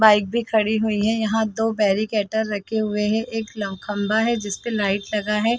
Bike भी खड़ी हुई है यहाँ दो बैरिकेटेर रखे हुए है एक ल खंभा है जिसपे लाइट लगा है।